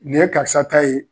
Nin ye karisa ta ye